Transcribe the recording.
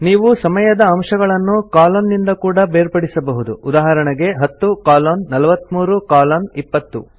ನೀವು ಸಮಯದ ಅಂಶಗಳನ್ನು ಕಲೋನ್ ನಿಂದ ಕೂಡಾ ಬೇರ್ಪಡಿಸಬಹುದು ಉದಾಹರಣೆಗೆ 10 ಕಲೋನ್ 43 ಕಲೋನ್ 20